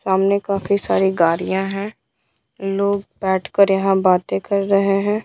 सामने काफी सारी गाड़ियाँ हैं लोग बैठकर यहाँ बातें कर रहे हैं।